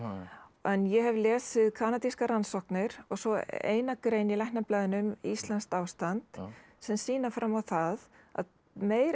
en ég hef lesið kanadískar rannsóknir svo eina grein í Læknablaðinu um íslenskt ástand sem sýna fram á það að meira en